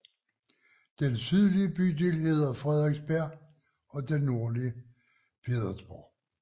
Den sydlige bydel hedder Frederiksberg og den nordlige Pedersborg